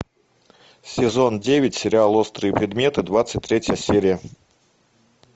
сезон девять сериал острые предметы двадцать третья серия